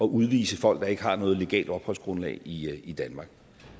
udvise folk der ikke har noget legalt opholdsgrundlag i i danmark